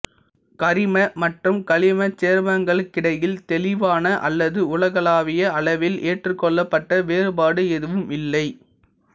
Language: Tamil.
கரிம மற்றும் கனிம சேர்மங்களுக்கிடையில் தெளிவான அல்லது உலகளாவிய அளவில் ஏற்றுக்கொள்ளப்பட்ட வேறுபாடு எதுவும் இல்லை